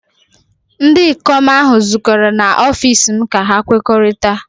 ndị ikom ahụ zukọrọ n'ọfịs m ka ha kwekọrịta